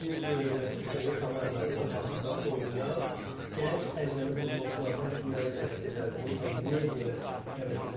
Bir məşqi kimi komandanıza hazırda oynayan gənc əcnəbi futbolçulardan kimləri dəvət edərdiniz və niyə görə dəvət edərdiniz?